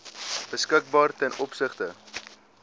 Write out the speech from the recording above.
beskikbaar ten opsigte